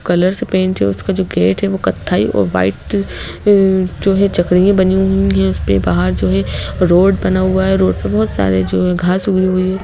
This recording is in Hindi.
कलर से पेंट है उसका जो गेट है वो कथाई और वाइट अ जो है चकरियां बनी हुई हैं उसपे बाहर जो है रोड बना हुआ है रोड पे बहुत सारे जो है घास उगी हुयी है।